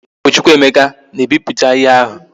O bu Chukwuemeka na e biputa ihe ahu